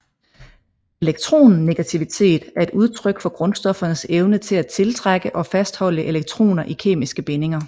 Elektronegativitet er et udtryk for grundstoffernes evne til at tiltrække og fastholde elektroner i kemiske bindinger